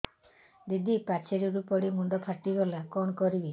ଦିଦି ପାଚେରୀରୁ ପଡି ମୁଣ୍ଡ ଫାଟିଗଲା କଣ କରିବି